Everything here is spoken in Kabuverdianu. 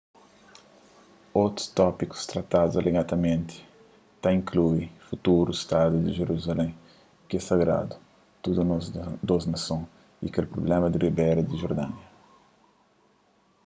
otus tópikus tratadu alegadamenti ta inklui futuru stadu di jeruzalén ki é sagradu tudu dôs nason y kel prubléma di ribéra di jordania